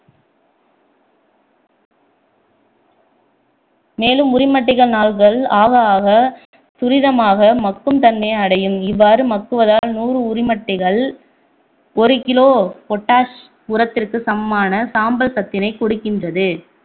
மேலும் உரிமட்டைகள் நாள்கள் ஆக ஆக துரிதமாக மக்கும் தன்மையை அடையும் இவ்வாறு மக்குவதால் நூறு உரிமட்டைகள் ஒரு kilo பொட்டாஷ் உரத்திற்கு சமமான சாம்பல் சத்தினை கொடுக்கின்றது